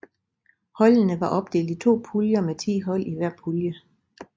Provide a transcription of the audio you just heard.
Holdene var opdelt i to puljer med ti hold i hver pulje